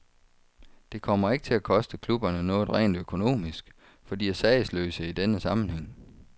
Det kommer ikke til at koste klubberne noget rent økonomisk, for de er sagesløse i denne sammenhæng.